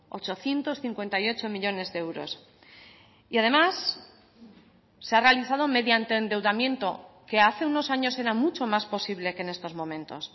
ochocientos cincuenta y ocho millónes de euros y además se ha realizado mediante endeudamiento que hace unos años era mucho más posible que en estos momentos